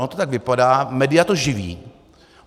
Ono to tak vypadá, média to živí.